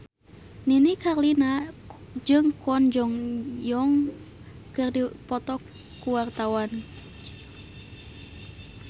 Nini Carlina jeung Kwon Ji Yong keur dipoto ku wartawan